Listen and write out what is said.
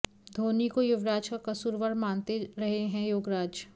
धोनी को युवराज का कसूरवार मानते रहे हैं योगराज